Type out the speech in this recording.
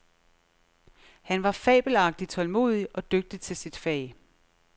Han var fabelagtig tålmodig og dygtig til sit fag.